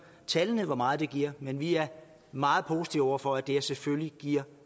tallene altså hvor meget det giver men vi er meget positive over for at det selvfølgelig giver